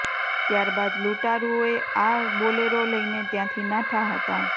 ત્યાર બાદ લૂંટારૂઓ આ બોલેરો લઈને ત્યાંથી નાઠા હતા